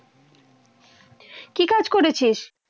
কি কাজ করেছিস?